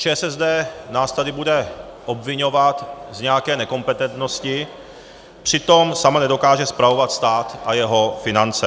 ČSSD nás tady bude obviňovat z nějaké nekompetentnosti, přitom sama nedokáže spravovat stát a jeho finance.